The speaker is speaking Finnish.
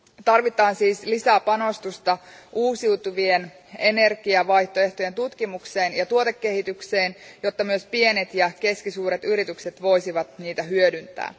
Tarvitaan siis lisää panostusta uusiutuvien energiavaihtoehtojen tutkimukseen ja tuotekehitykseen, jotta myös pienet ja keskisuuret yritykset voisivat niitä hyödyntää.